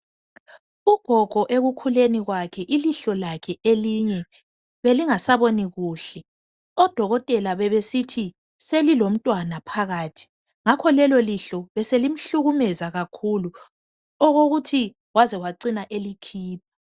Ugogo ekukhuleni kwakhe ilihlo lakhe elinye belingasaboni kuhle. Odokotela bebesithi selilomntwana phakathi ngakho lelo lihlo beselimhlukumeza kakhulu okokuthi ngakho wacina selikhipha.